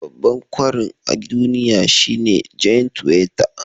Babban kwarin a duniya shine giant weta